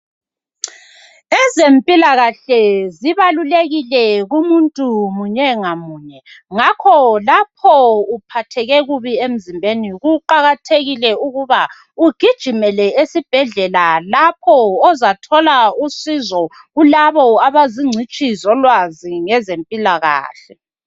Ezempilakahle zibalulekile kumuntu munye ngamunye ngakho lapho uphatheke kubi emzimbeni kuqakathekile ukuba ugijimele esibhedlela lapho ozathola usizo kulabo abazingcitshi zolwazi kwezempilakahle.